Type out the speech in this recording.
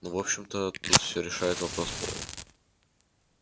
но в общем-то тут всё решает вопрос пола